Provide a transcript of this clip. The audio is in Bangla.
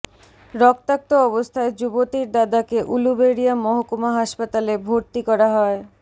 রক্তাক্ত অবস্থায় যুবতীর দাদাকে উলুবেড়িয়া মহকুমা হাসপাতালে ভর্তি করা হয়